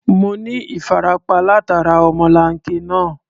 Mo ní ìfarapa látara ọmọlanke náà.